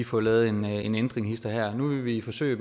få lavet en en ændring hist og her nu vil vi forsøge